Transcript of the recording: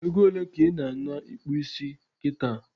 Egole ka ị na ana ikpụ isi kita?